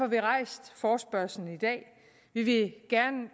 vi rejst forespørgslen i dag vi vil